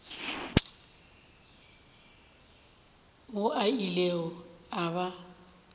mo a ilego a ba